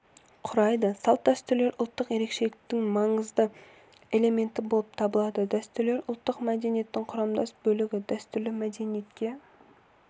құрайды салт-дәстүрлер ұлттық ерекшеліктің маңызды элементі болып табылады дәстүрлер ұлттық мәдениеттің құрамдас бөлігі дәстүрлі мәдениетке